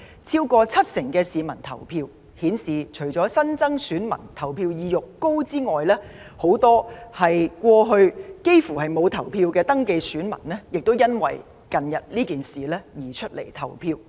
超過七成登記選民投票，顯示除了新增選民投票意欲高漲外，很多過去從不投票的登記選民也因為近日的事件而出來投票。